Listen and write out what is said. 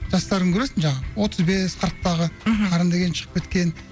жастарын көресің жаңағы отыз бес қырықтағы мхм қарын деген шығып кеткен